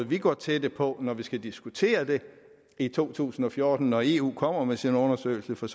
vi går til det på når vi skal diskutere det i to tusind og fjorten når eu kommer med sin undersøgelse for